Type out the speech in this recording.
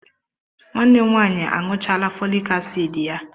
Nwanne m nwanyị aṅụchala folic acid ya